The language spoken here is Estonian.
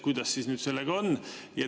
Kuidas siis sellega on?